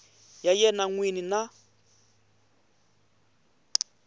ya yena n wini na